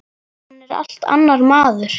Hann er allt annar maður.